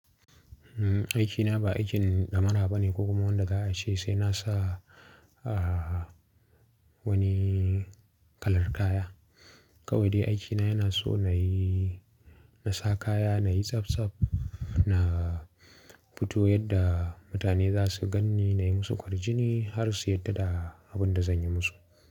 Aiki na ba aikin ɗamara ba ne ko kuma wanda za a ce sai na sa wani kalar kaya. Kawai dai aiki na yana so na yi, na sa kaya, na yi tsaf tsaf, na fito yadda mutane za su ganni, na yi musu kwarjini har su yarda da abin da zan yi musu.